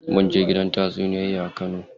Munje gidan tatsuniyoyi a kano.